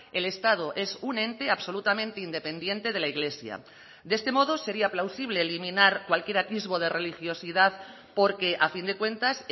el estado es un ente absolutamente independiente de la iglesia de este modo sería plausible eliminar cualquier atisbo de religiosidad porque a fin de cuentas